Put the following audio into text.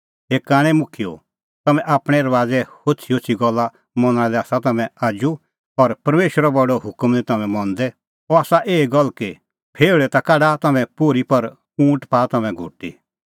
हे कांणै मुखियेओ तम्हैं आपणैं रबाज़े होछ़ीहोछ़ी गल्ला मनणा लै आसा तम्हैं आजू और परमेशरो बडअ हुकम निं तम्हैं मंदै अह आसा एही गल्ल कि फेऊल़ै ता काढा तम्हैं पोर्ही पर ऊँट पाआ तम्हैं घुटी